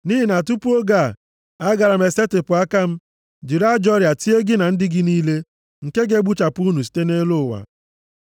Nʼihi na tupu oge a, agaara m esetipụ aka m, jiri ajọ ọrịa tie gị na ndị gị niile nke ga-egbuchapụ unu site nʼelu ụwa.